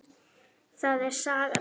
Það er saga mín.